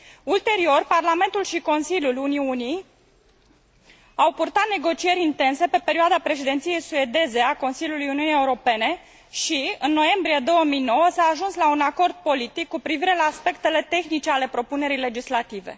Ulterior, Parlamentul și Consiliul au purtat negocieri intense pe perioada Președinției suedeze a Consiliului Uniunii Europene și, în noiembrie 2009, s a ajuns la un acord politic cu privire la aspectele tehnice ale propunerii legislative.